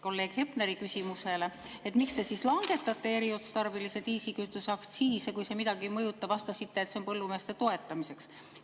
Kolleeg Hepneri küsimusele, miks te siis langetate eriotstarbelise diislikütuse aktsiise, kui see midagi ei mõjuta, vastasite, et see on põllumeeste toetamiseks.